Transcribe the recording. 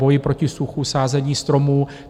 Boj proti suchu, sázení stromů.